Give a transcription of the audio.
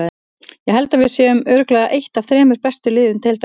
Ég held að við séum með örugglega eitt af þremur bestu liðum deildarinnar.